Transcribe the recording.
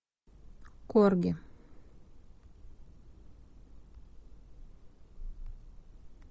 корги